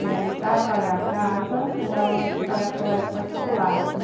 E aí, para pagar a casa, não dava mais para pagar colégio particular, né?